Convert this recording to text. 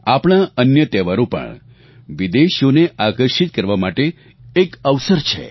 આપણા અન્ય તહેવારો પણ વિદેશીઓને આકર્ષિત કરવા માટે એક અવસર છે